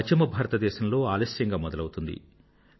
పశ్చిమ భారతదేశంలో లేటుగా మొదలౌతుంది